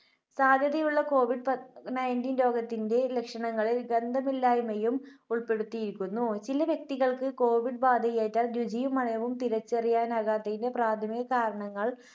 സാധ്യതയുള്ള കോവിഡ് പ Nineteen രോഗത്തിന്റെ ലക്ഷണങ്ങളിൽ ഗന്ധമില്ലായ്മയും ഉൾപ്പെടുത്തിയിരിക്കുന്നു. ചില വ്യക്തികൾക്ക് കോവിഡ് ബാധയേറ്റാൽ രുചിയും മണവും തിരിച്ചറിയാനാകാത്തതിന്റെ പ്രാഥമിക കാരണങ്ങൾ